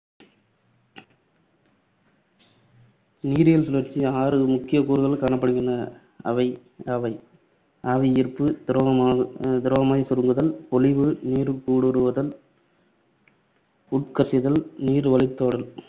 நீரியல் சுழற்சியில் ஆறு முக்கிய கூறுகள் காணப்படுகின்றன. அவைவை. ஆவியீர்ப்பு, திரவமா~ திரவமாய் சுருங்குதல், பொழிவு நீர், ஊடுருவல், உட் கசிதல், நீர் வழிந்தோடல்